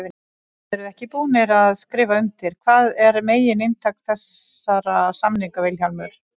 Þið eruð ekki búnir að skrifa undir, hvað er megin inntak þessara samninga Vilhjálmur?